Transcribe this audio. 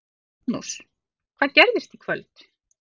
Magnús: Hvað gerist í kvöld?